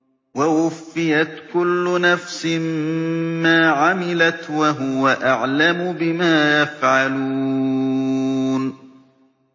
وَوُفِّيَتْ كُلُّ نَفْسٍ مَّا عَمِلَتْ وَهُوَ أَعْلَمُ بِمَا يَفْعَلُونَ